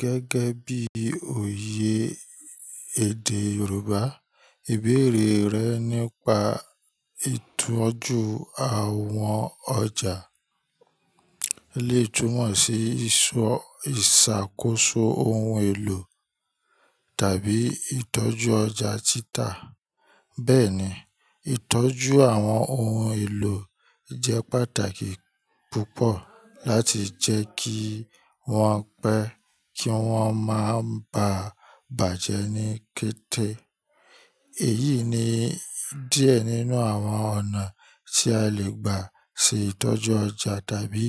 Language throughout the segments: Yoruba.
Gẹ́gẹ́ bí òye èdè Yorùbá, ìbéèrè rẹ nípa ìtọ́jú àwọn ọjà lè túmọ̀ sí ìṣàkóso ohun èlò tàbí ìtọ́jú ọjà títà. Bẹ́ẹ̀ni, ìtọ́jú àwọn ohun èlò jẹ́ pàtàkì púpọ̀ láti jẹ́ kí wọ́n pẹ́ kí wọ́n máa ba bàjẹ́ ní kété. Èyí ni díẹ̀ nínú àwọn ọ̀nà tí a lè gbà ṣe ìtọ́jú ọjà tàbí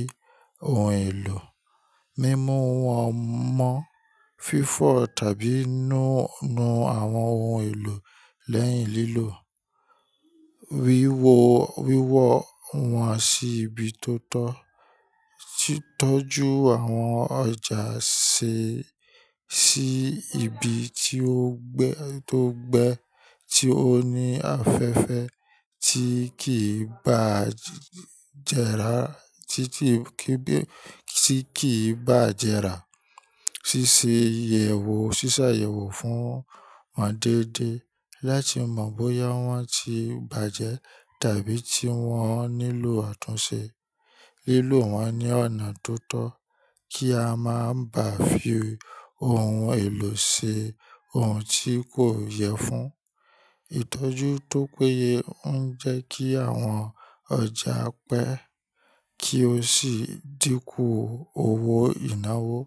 ohun èlò: mímú wọn mọ́, fífọ̀ tàbí nu àwọn ohun èlò lẹ́yìn lílò, wíwọ wọn sí ibi tó tọ́, tọ́jú àwọn ọjà sé sí ibi tí ó gbe tó gbe, tí ó ní afẹ́fẹ́ tí kì í bá jẹràra títí kí bí tí kì í bá jẹrà, ṣíṣe ìyẹ̀wò ṣíṣàyẹ̀wò fún wọn déédéé láti mọ̀ bóyá wọ́n ti bàjẹ́ tàbí tí wọ́n nílò àtúnṣe, lílò wọn ní ọ̀nà tó tọ́ kí a má bà fi ohun èlò ṣe ohun tí kò yẹ fún. Ìtọ́jú tó péye ń jẹ́ kí àwọn ọjà pẹ́ kí ó sì dínkù owó ìnáwó.